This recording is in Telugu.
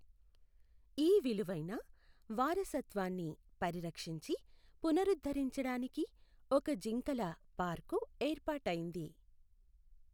ఈ విలువైన వారసత్వాన్ని పరిరక్షించి పునరుద్ధరించడానికి ఒక జింకల పార్కు ఏర్పాటైంది.